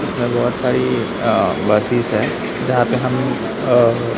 इधर बहोत सारी अ बसेस है जहां पे हम अ--